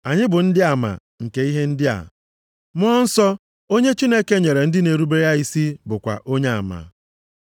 Anyị bụ ndị ama nke ihe ndị a, Mmụọ Nsọ onye Chineke nyere ndị na-erubere ya isi bụkwa onyeama.”